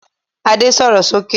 Ade sọ̀rọ̀ sókè!